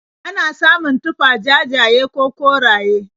Ana samun tufah jajaye ko koraye.